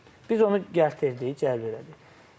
Biz onu gəltirdik, cəlb elədik.